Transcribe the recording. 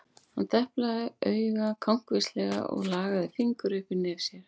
Hann deplaði auga kankvíslega og lagði fingur upp við nef sér.